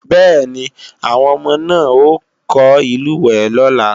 Bẹ́ẹ̀ni, àwọn ọmọ náà ó kọ́ ìlúwẹ̀ẹ́ lọ́la